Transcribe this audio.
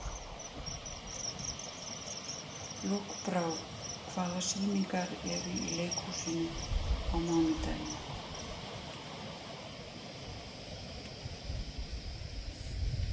Lokbrá, hvaða sýningar eru í leikhúsinu á mánudaginn?